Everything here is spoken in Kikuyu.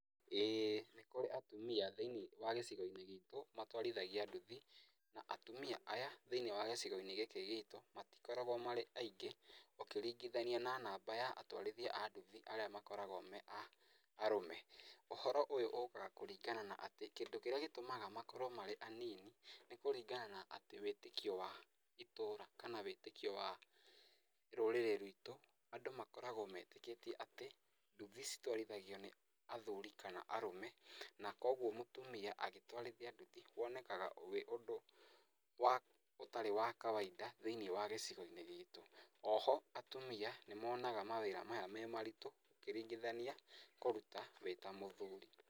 ĩ nĩkũrĩ atumia thĩ-inĩ wa gĩcigo-inĩ gitũ matwarithagia nduthi, na atumia aya, thĩ-inĩ wa gĩcigo-inĩ gĩkĩ gitũ, matikoragwo marĩ aingĩ, ũkĩringithania na namba ya atwarithia a nduthi arĩa makoragwo me arũme, ũhoro ũyũ ũkaga kũringana na atĩ kĩndũ kĩrĩa gĩtũmaga makorwo marĩ anini, nĩkũringana na wĩtĩkio wa atĩ itũra kana wĩtĩkio wa rũrĩrĩ rwitũ, andũ makoragwo metĩkĩtie atĩ, nduthi ciywarithagio nĩ athuri kana arũme, na koguo mũtumia gĩtwarithia nduthi, wonekaga wĩ ũndũ wa ũtarí wa kawaida thĩ-inĩ wa gĩcigo-inĩ gitú, oho, atumia nĩmonaga mawĩra maya me maritũ ũkĩringithania kũruta wĩ ta mũthuri.